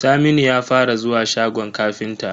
Saminu ya fara zuwa shagon ƙafinta.